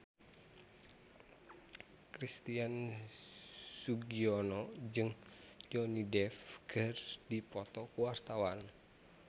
Christian Sugiono jeung Johnny Depp keur dipoto ku wartawan